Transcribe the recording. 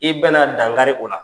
I bɛna dangari o la.